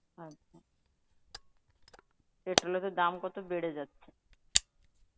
আচ্ছা, petrol এর তো দাম কত বেড়ে যাচ্ছে.